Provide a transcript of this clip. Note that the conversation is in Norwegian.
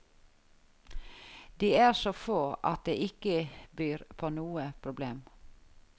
De er så få at det ikke byr på noe problem.